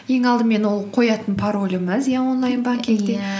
ең алдымен ол қоятын пароліңіз иә онлайн банкингте иә